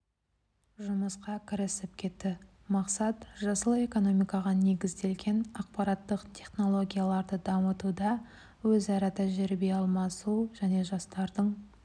жұмысқа кірісіп кетті мақсат жасыл экономикаға негізделген ақпараттық технологияларды дамытуда өзара тәжірибе алмасу және жастардың